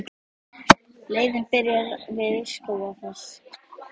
Leiðin byrjar við Skógafoss.